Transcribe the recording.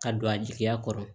Ka don a jigiya kɔrɔ